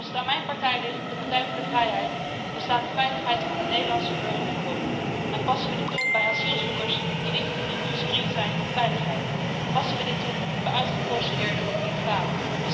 Als het aan mijn partij ligt, de Partij voor de Vrijheid, dan staat de veiligheid van de Nederlandse burger voorop en passen we dit toe zowel bij asielzoekers die niet gescreend zijn op veiligheid als bij uitgeprocedeerden of illegalen.